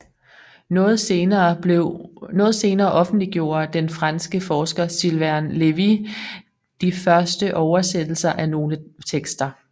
Noget senere offentliggjorde den franske forsker Sylvain Lévi de første oversættelser af nogle tekster